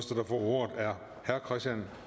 ordet er herre christian